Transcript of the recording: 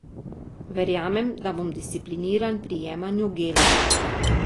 Verjamem, da bom discipliniran pri jemanju gela.